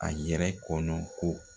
A yɛrɛ kɔnɔ ko